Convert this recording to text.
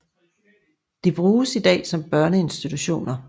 De bruges i dag som børneinstitutioner